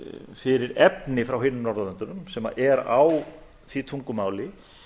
fyrir efni frá hinum norðurlöndunum sem er á því tungumáli